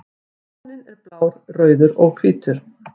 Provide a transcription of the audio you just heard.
Fáninn er blár, rauður og hvítur.